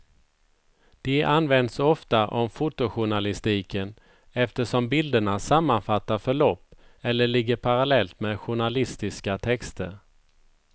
De används ofta om fotojournalistiken eftersom bilderna sammanfattar förlopp eller ligger parallellt med journalistiska texter.